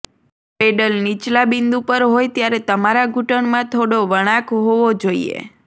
pedal નીચલા બિંદુ પર હોય ત્યારે તમારા ઘૂંટણમાં થોડો વળાંક હોવો જોઈએ